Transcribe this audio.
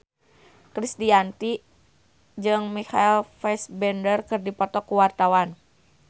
Krisdayanti jeung Michael Fassbender keur dipoto ku wartawan